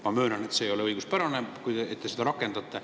Ma möönan, et see ei ole õiguspärane, kui te seda rakendate.